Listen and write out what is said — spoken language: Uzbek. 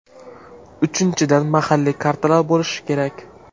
Uchinchidan, mahalliy kartalar bo‘lishi kerak .